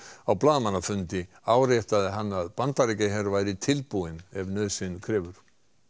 á blaðamannafundi í áréttaði hann að Bandaríkjaher væri tilbúinn ef nauðsyn krefur